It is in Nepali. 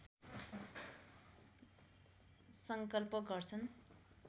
सङ्कल्प गर्छन्